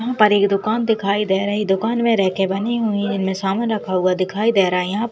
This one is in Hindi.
यहाँ पर एक दुकान दिखाई दे रही दुकान मे रैके बनी हुई हैं इनमे सामान रखा हुआ दिखाई दे रहा है यहाँ --